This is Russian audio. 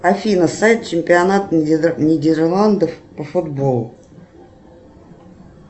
афина сайт чемпионат нидерландов по футболу